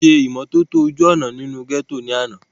wọ́n ṣe ìmọ́tótó àwọn ojú òná inú gẹ́tò ní àná